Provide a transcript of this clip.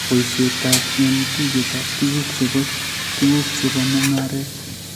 Poisyetap eng' tuiyetap tuguuk che po tuguuk che po mung'aaret